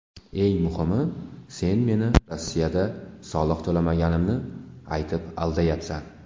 Eng muhimi, sen meni Rossiyada soliq to‘lamasligimni aytib, aldayapsan.